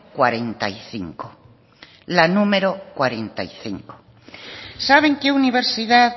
cuarenta y cinco saben qué universidad